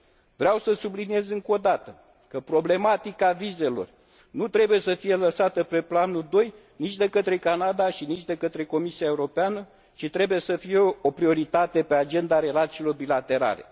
Vreau să subliniez încă odată că problematica vizelor nu trebuie să fie lăsată pe planul doi nici de către Canada și nici de către Comisia Europeană, ci trebuie să fie o prioritate pe agenda relațiilor bilaterale.